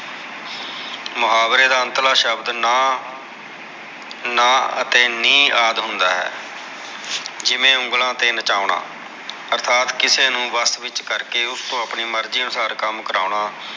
ਮੁਹਾਵਰੇ ਦਾ ਅੰਤਲਾ ਸ਼ਬਦ ਨਾ ਅਤੇ ਨੀ ਆਦਮ ਦਾ ਹੈ ਜਿਵੇ ਉਂਗਲਾ ਤੇ ਨਚਾਉਣਾ ਅਰਥਾਤ ਕਿਸੇ ਨੂ ਵਸ ਵਿਚ ਕਰਕੇ ਓਸ ਤੋਂ ਆਪਣੀ ਮਰਜੀ ਅਨੁਸਾਰ ਕਮ ਕਰਵਾਉਣਾ